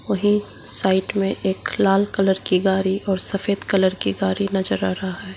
वही साइड में एक लाल कलर की गाड़ी और सफेद कलर की गाड़ी नजर आ रहा है।